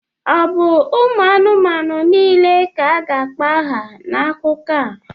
Ọ bụ ụmụ anụmanụ niile ka a ga-akpọ aha n'akụkọ a?